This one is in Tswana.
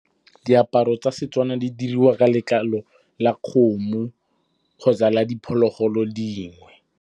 Diaparo tsa Setswana di diriwa ka letlalo la kgomo kgotsa la diphologolo dingwe.